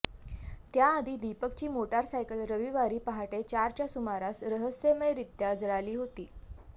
त्याआधी दीपकची मोटरसायकल रविवारी पहाटे चारच्या सुमारास रहस्यमयरित्या जळाली होती